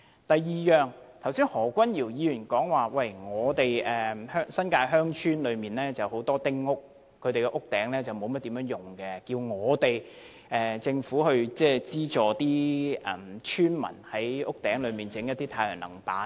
第二，何君堯議員剛才說新界鄉村有很多丁屋，屋頂沒有甚麼用途，他要求政府資助村民在屋頂設置太陽能板。